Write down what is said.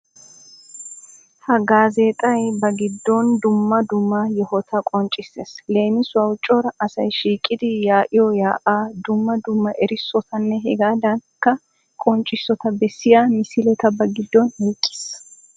Ha gaazeexay ba giddon dumma dumma yohota qonccissees. Leemissuwaw Cora asay shiiqidi yaa'iyo yaa'aa, dumma dumma erissotanne hegaadankka qonccissota bessiya misileta ba giddon oyqqiis.